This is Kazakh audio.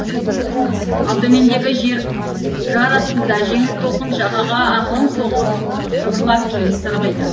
ал төмендегі жар астында жеңіл толқын жағаға ақырын соғылып жыбырлап кейін сырғиды